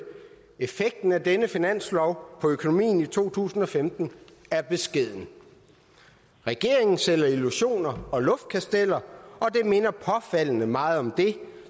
effekten af denne finanslov på økonomien i to tusind og femten er beskeden regeringen sælger illusioner og luftkasteller og det minder påfaldende meget om det